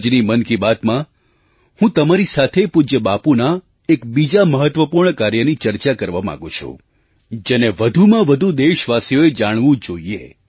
આજની મન કી બાતમાં હું તમારી સાથે પૂજ્ય બાપુના એક બીજા મહત્ત્વપૂર્ણ કાર્યની ચર્ચા કરવા માગું છું જેને વધુમાં વધુ દેશવાસીઓએ જાણવું જોઈએ